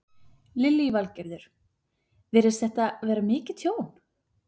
Lillý Valgerður: Virðist þetta vera mikið tjón?